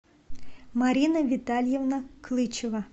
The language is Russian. марина витальевна клычева